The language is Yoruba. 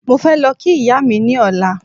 Mo fẹ́ lọ kí ìyá mi ní ọ̀la